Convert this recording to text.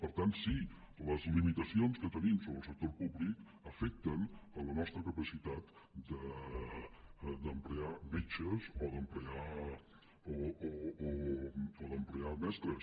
per tant sí les limitacions que tenim sobre el sector públic afecten la nostra capacitat d’ocupar metges o d’ocupar mestres